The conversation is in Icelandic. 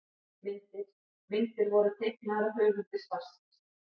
Myndir: Myndir voru teiknaðar af höfundi svarsins.